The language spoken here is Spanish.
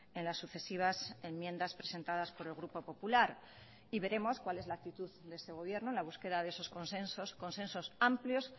en las sucesivas enmiendas presentadas por el grupo popular y veremos cuál es la actitud de este gobierno en la búsqueda de esos consensos consensos amplios